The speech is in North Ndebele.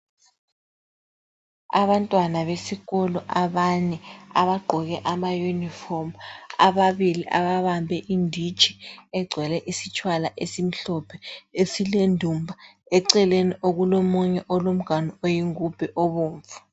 Abantwana besikolo abane abagqoke amauniform ababili ababambe inditshi egcwele isitshwala esimhlophe esilendumba eceleni okulomunye olomganu oyingubhe obomvu.